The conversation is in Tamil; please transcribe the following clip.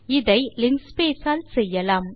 இதை லின்ஸ்பேஸ் ஆல் செய்யலாம்